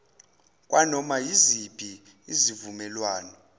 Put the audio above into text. kwanoma yiziphi izivumelwano